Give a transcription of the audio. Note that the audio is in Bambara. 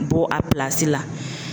Bɔ a la